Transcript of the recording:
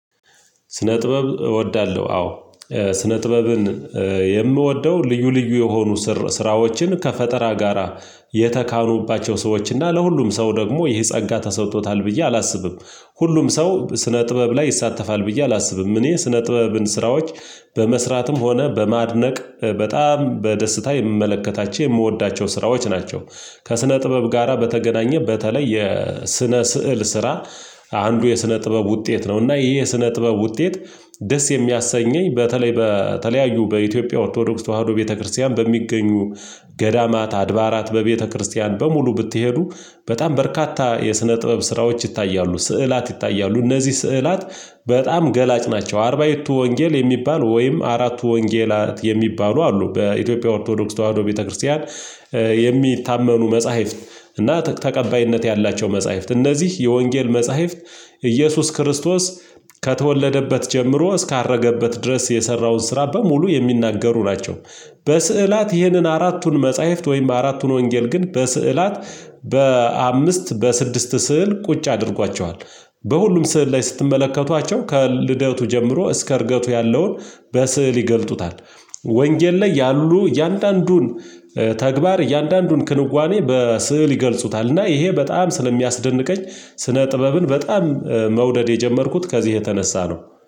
ስነ ጥበብ እወዳለሁ። አዎ ስነ ጥበብን የምወደው ልዩ ልዩ የሆኑ ስራዎችን ከፈጠራ ጋራ የተካኑባቸው ሰዎች እና ለሁሉም ሰው ደግሞ ይሄ ጸጋ ተሰጥቶታል ብዬ አላስብም። ሁሉም ሰው ስነ ጥበብ ላይ ይሳተፋል ብዬ አላስብም። እኔ ስነ ጥበብን ስራዎች በመስራትም ሆነ በማድነቅ በጣም በደስታ የምመለከታቸው የምወዳቸው ስራዎች ናቸው። ከስነ ጥበብ ጋራ በተገናኘ በተለይ የስነ ስዕል ስራ። አንዱ የስነ ጥበብ ውጤት ነው። እና ይሄ የስነ ጥበብ ውጤት። ደስ የሚያሰኘኝ በተለይ በተለያዩ በኢትዮጵያ ኦርቶዶክስ ተዋህዶ ቤተክርስቲያን በሚገኙ ገዳማት አድባራት በቤተክርስቲያን በሙሉ ብትሄዱ። በጣም በርካታ የስነ ጥበብ ስራዎች ይታያሉ ስዕላት ይታያሉ እነዚህ ስዕላት። በጣም ገላጭ ናቸው። አርባይቱ ወንጌል የሚባል ወይም አራቱ ወንጌላት የሚባሉ አሉ በኢትዮጵያ ኦርቶዶክስ ተዋህዶ ቤተክርስቲያን። የሚታመኑ መጽሐፍት እና ተቀባይነት ያላቸው መጽሐፍት እነዚህ የወንጌል መጽሐፍት። ኢየሱስ ክርስቶስ ከተወለደበት ጀምሮ እስካረገበት ድረስ የሰራውን ስራ በሙሉ የሚናገሩ ናቸው። በስዕላት ይህንን አራቱን መጽሐፍት ወይም አራቱን ወንጌል ግን በስዕላት በአምስት በስድስት ስዕል ቁጭ አድርጓቸዋል። በሁሉም ስዕል ላይ ስትመለከቷቸው ከልደቱ ጀምሮ እስከ እርገቱ ያለውን በስዕል ይገልጡታል። ወንጌል ላይ ያሉ እያንዳንዱን ተግባር እያንዳንዱን ክንዋኔ በስዕል ይገልጹታል። እና ይሄ በጣም ስለሚያስደንቀኝ ስነ ጥበብን በጣም መውደድ የጀመርኩት ከዚህ የተነሳ ነው